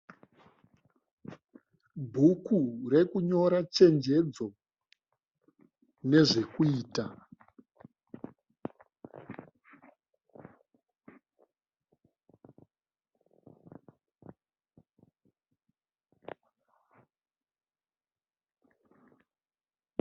Bhuku rekunyora chenjedzo nezvekuita.